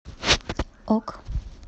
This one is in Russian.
ок